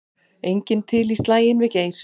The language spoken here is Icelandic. Enginn til í slaginn við Geir